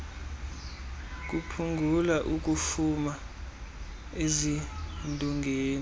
kuphungula ukufuma ezindongeni